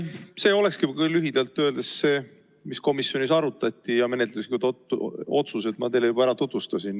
See olekski lühidalt öeldes see, mida komisjonis arutati, ja menetluslikke otsuseid ma teile juba tutvustasin.